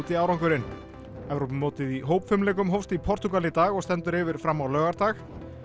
árangur sinn Evrópumótið í hópfimleikum hófst í Portúgal í dag og stendur yfir fram á laugardag